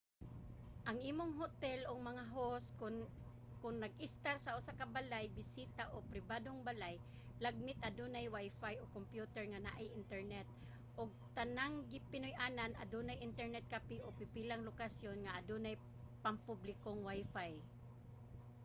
ang imong hotel o mga host kon nag-estar sa usa ka balay-bisita o pribadong balay lagmit adunay wifi o kompyuter nga naay internet ug ang tanang pinuy-anan adunay internet cafe o pipilang lokasyon nga adunay pangpublikong wifi